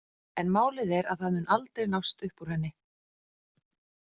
En málið er að það mun aldrei nást upp úr henni.